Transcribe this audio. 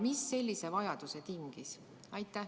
Mis sellise vajaduse tingis?